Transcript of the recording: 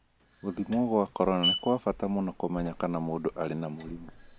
Gũthimwo kwa corona nĩ kwa bata mũno kũmenya kana mũndũ arĩ na mũrimũ